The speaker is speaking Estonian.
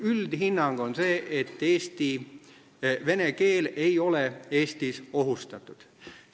Üldhinnang on selline, et vene keel ei ole Eestis ohustatud.